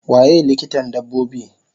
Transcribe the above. Waye likitan dabbobi?